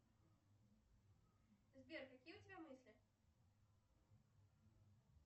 сбер какие у тебя мысли